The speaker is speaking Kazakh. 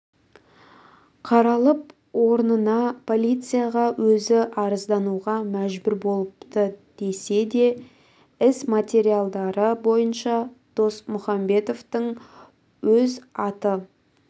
қалып орнына полицияға өзі арыздануға мәжбүр болыпты десе де іс материалдары бойынша досмұхамбетовтың өз аты